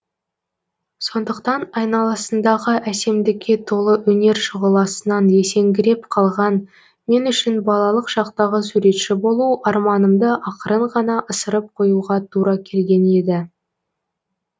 сондықтан айналасындағы әсемдікке толы өнер шұғыласынан есеңгіреп қалған мен үшін балалық шақтағы суретші болу арманымды ақырын ғана ысырып қоюға тура келген еді